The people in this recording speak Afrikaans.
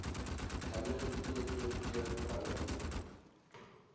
huidige ttv verhouding